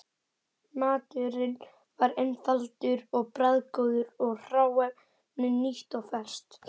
Maturinn var einfaldur og bragðgóður og hráefnið nýtt og ferskt.